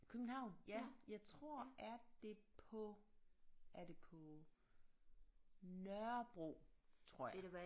København ja jeg tror er det på er det på Nørrebro tror jeg